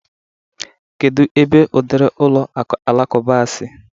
Kedu ebe udiri ụlọ alakụba a si?